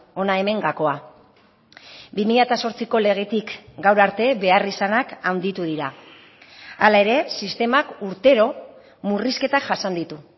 hona hemen gakoa bi mila zortziko legetik gaur arte beharrizanak handitu dira hala ere sistemak urtero murrizketak jasan ditu